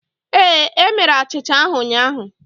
Ee, e mere achịcha ahụ ụnyahụ